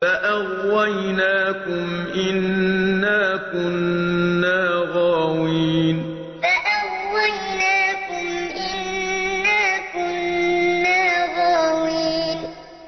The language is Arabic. فَأَغْوَيْنَاكُمْ إِنَّا كُنَّا غَاوِينَ فَأَغْوَيْنَاكُمْ إِنَّا كُنَّا غَاوِينَ